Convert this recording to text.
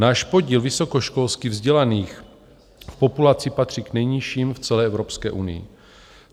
Náš podíl vysokoškolsky vzdělaných v populaci patří k nejnižším v celé Evropské unii.